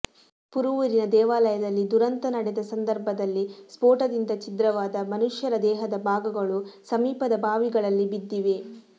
ಪುರುವೂರಿನ ದೇವಾಲಯದಲ್ಲಿ ದುರಂತ ನಡೆದ ಸಂದರ್ಭದಲ್ಲಿ ಸ್ಪೋಟದಿಂದ ಛಿದ್ರವಾದ ಮನುಷ್ಯರ ದೇಹದ ಭಾಗಗಳು ಸಮೀಪದ ಬಾವಿಗಳಲ್ಲಿ ಬಿದ್ದಿವೆ